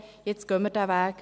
Jetzt gehen wir diesen Weg.